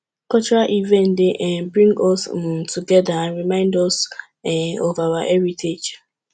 cultural events dey um bring us um together and remind us um of our heritage